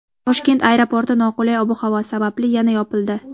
Toshkent aeroporti noqulay ob-havo sababli yana yopildi.